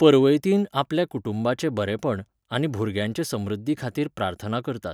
पर्वैतीन आपल्या कुटुंबाचे बरेपण, आनी भुरग्यांचे समृध्दीखातीर प्रार्थना करतात.